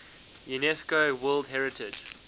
unesco world heritage